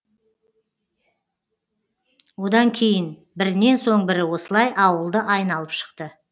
одан кейін бірінен соң бірі осылай ауылды айналып шықты